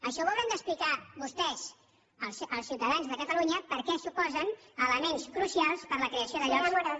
això ho hauran d’explicar vostès als ciutadans de catalunya per què s’oposen a elements crucials per a la creació de llocs